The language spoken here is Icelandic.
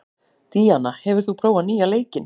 Díanna, hefur þú prófað nýja leikinn?